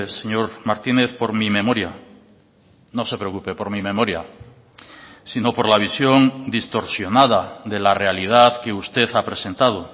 señor martínez por mi memoria no se preocupe por mi memoria sino por la visión distorsionada de la realidad que usted ha presentado